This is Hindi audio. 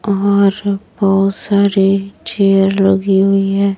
और बहोत सारे चेयर लगी हुई है।